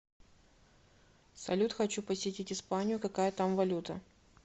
салют хочу посетить испанию какая там валюта